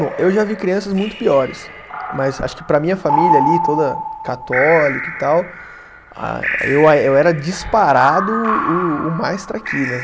Bom, eu já vi crianças muito piores, mas acho que para a minha família ali, toda católica e tal, ah, eu a eu era disparado o mais traquinas.